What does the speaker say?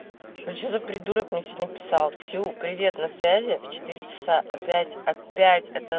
что за придурок мне сегодня писал ксюха привет на связи в в четыре часа опять опять